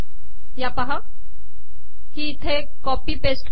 ही इथे copy paste कर